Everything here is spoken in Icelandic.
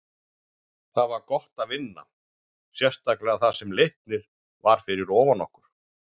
Það var gott að vinna, sérstaklega þar sem Leiknir var fyrir ofan okkur.